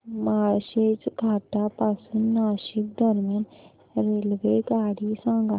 माळशेज घाटा पासून नाशिक दरम्यान रेल्वेगाडी सांगा